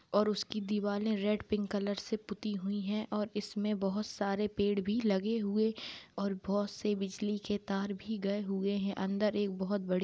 और उसकी दीवाले रेड पिंक कलर से पुती हुईं हैऔर इसमें बहोत सारे पेड़ भी लगे हुए और बहोत से बिजली के तार भी गए हुए है अंदर एक बहोत बड़ी--